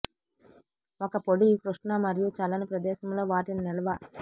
ఒక పొడి కృష్ణ మరియు చల్లని ప్రదేశంలో వాటిని నిల్వ